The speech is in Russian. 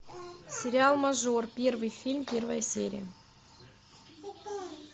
сериал мажор первый фильм первая серия